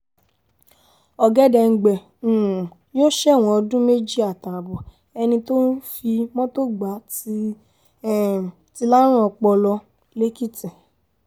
ọ̀gẹ̀dẹ̀ǹgbẹ um yóò ṣẹ̀wọ̀n ọdún méjì àtààbọ̀ ẹni tó fi mọ́tò gbà ti um lárùn ọpọlọ lẹ́kìtì